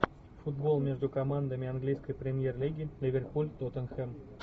футбол между командами английской премьер лиги ливерпуль тоттенхэм